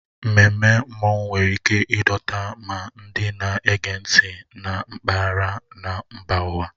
Ememme Mmanwụ nwere ike ịdọta ma ndị na-ege ntị na mpaghara na mba ụwa.